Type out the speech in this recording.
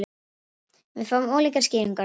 Við fáum ólíkar skýringar á því